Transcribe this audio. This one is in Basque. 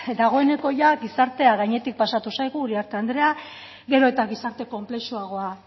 dagoeneko ia gizartea gainetik pasatu zaigu uriarte andrea gero eta gizarte konplexuagoa